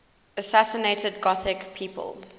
assassinated gothic people